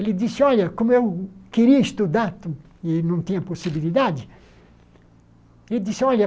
Ele disse, olha, como eu queria estudar e não tinha possibilidade, ele disse, olha,